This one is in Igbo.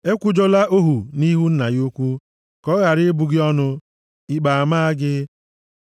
“Ekwujọla ohu nʼihu nna ya ukwu, ka ọ ghara ịbụ gị ọnụ, ikpe amaa gị.